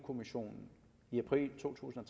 kommissionen i april to tusind og